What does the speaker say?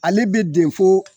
Ale be den foo